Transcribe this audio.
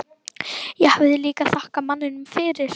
Ég hafði líka þakkað manninum fyrir.